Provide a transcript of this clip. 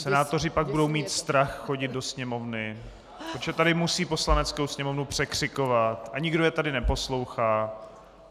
Senátoři pak budou mít strach chodit do Sněmovny, protože tady musí Poslaneckou sněmovnu překřikovat a nikdo je tady neposlouchá.